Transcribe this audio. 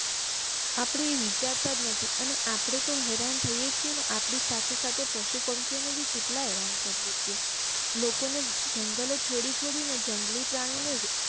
આપડે વિચારતા જ નથી અને આપડે તો હેરાન થૈયે છીએ અને આપડી સાથે સાથે પશુ પંખી ઓ ને પણ કેટલા હેરાન કરીયે છીએ લોકો ને જંગલો છોડી છોડી ને જંગલી પ્રાણી ને